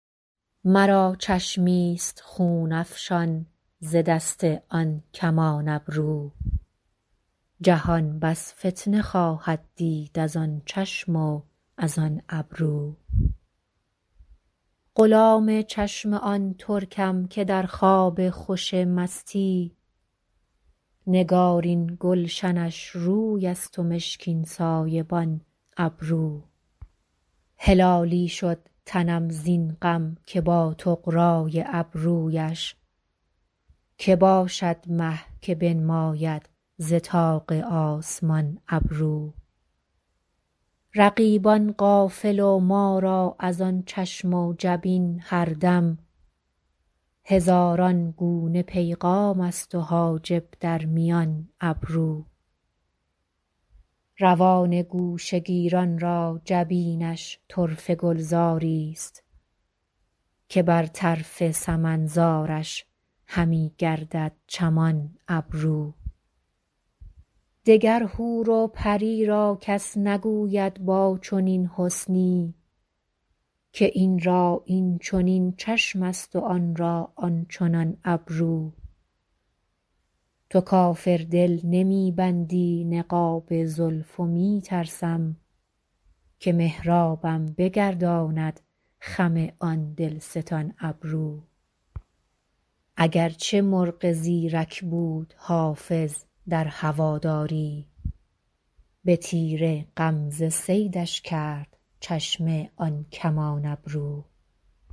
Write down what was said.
مرا چشمی ست خون افشان ز دست آن کمان ابرو جهان بس فتنه خواهد دید از آن چشم و از آن ابرو غلام چشم آن ترکم که در خواب خوش مستی نگارین گلشنش روی است و مشکین سایبان ابرو هلالی شد تنم زین غم که با طغرا ی ابرو یش که باشد مه که بنماید ز طاق آسمان ابرو رقیبان غافل و ما را از آن چشم و جبین هر دم هزاران گونه پیغام است و حاجب در میان ابرو روان گوشه گیران را جبینش طرفه گلزار ی ست که بر طرف سمن زارش همی گردد چمان ابرو دگر حور و پری را کس نگوید با چنین حسنی که این را این چنین چشم است و آن را آن چنان ابرو تو کافر دل نمی بندی نقاب زلف و می ترسم که محرابم بگرداند خم آن دل ستان ابرو اگر چه مرغ زیرک بود حافظ در هوادار ی به تیر غمزه صیدش کرد چشم آن کمان ابرو